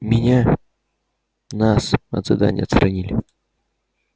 меня нас от задания отстранили